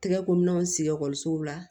Tɛgɛ ko minɛnw sigi ekɔlisow la